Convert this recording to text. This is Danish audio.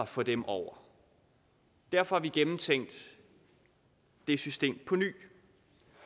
for dem over derfor har vi gennemtænkt det system på ny